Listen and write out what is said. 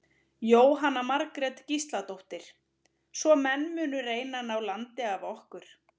Jóhanna Margrét Gísladóttir: Svo menn munu reyna að ná landi af okkur?